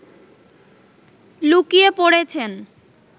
লুকিয়ে পড়েছেন